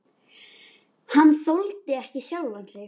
Hann þoldi ekki sjálfan sig.